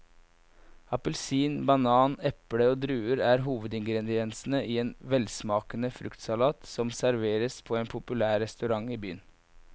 Appelsin, banan, eple og druer er hovedingredienser i en velsmakende fruktsalat som serveres på en populær restaurant i byen.